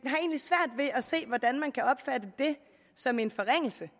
har se hvordan man kan opfatte det som en forringelse